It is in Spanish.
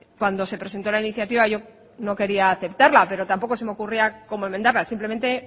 cuando se presentó la iniciativa yo no quería aceptarla pero tampoco se me ocurría cómo enmendarla simplemente